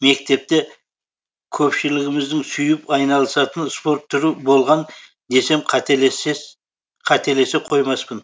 мектепте көпшілігіміздің сүйіп айналысатын спорт түрі болған десем қателесе қоймаспын